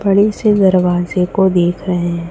बड़ी से दरवाजे को देख रहे--